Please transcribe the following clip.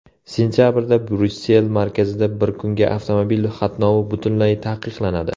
Sentabrda Bryussel markazida bir kunga avtomobil qatnovi butunlay taqiqlanadi.